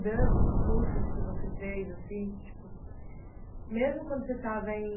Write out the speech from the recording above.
de cursos que você fez assim, tipo, mesmo quando você estava em